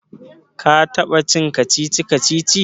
ka taba cin kacici-kacici?